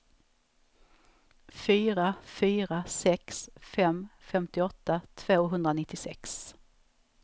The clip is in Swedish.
fyra fyra sex fem femtioåtta tvåhundranittiosex